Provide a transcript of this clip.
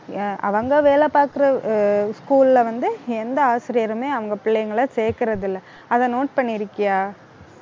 அஹ் அவங்க வேலை பார்க்கிற அஹ் school ல வந்து, எந்த ஆசிரியருமே அவங்க பிள்ளைங்களை சேர்க்கிறது இல்லை. அதை note பண்ணிருக்கியா